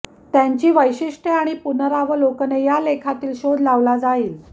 त्यांची वैशिष्ट्ये आणि पुनरावलोकने या लेखातील शोध लावला जाईल